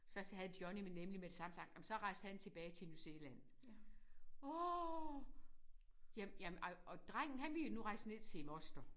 Så havde Johnny nemlig med det samme sagt ej men så rejste han tilbage til New Zealand åh jamen jamen ej og jamen drengen han ville rejse ned til moster